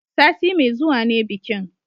Sati mai zuwa ne bikin